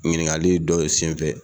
Ɲininkali dɔ ye senfɛ